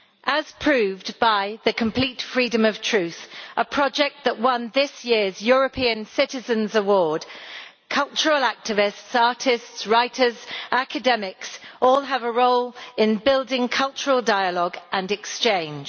As proved by the Complete Freedom of Truth, a project that won this year's European Citizens' Prize, cultural activists, artists, writers and academics all have a role in building cultural dialogue and exchange.